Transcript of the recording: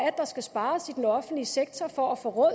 er der skal spares i den offentlige sektor for at få råd